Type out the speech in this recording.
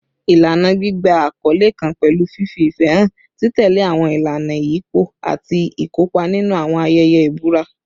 Ilana gbigba akọle kan pẹlu fifi ifẹ han, titẹle awọn ilana iyipo, ati ikopa ninu awọn ayẹyẹ ibura